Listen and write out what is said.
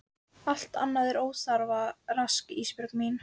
Allt annað er óþarfa rask Ísbjörg mín.